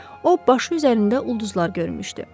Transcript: O, başı üzərində ulduzlar görmüşdü.